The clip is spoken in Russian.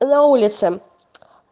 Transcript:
на улице